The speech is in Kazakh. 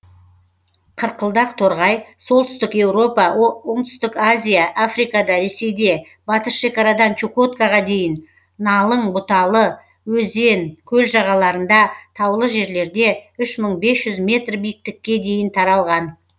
қырқылдақ торғай солтүстік еуропа оңтүстік азия африкада ресейде батыс шекарадан чукоткаға дейін ңалың бұталы өзен көл жағаларында таулы жерлерде үш мың бес жүз метр биіктікке дейін таралған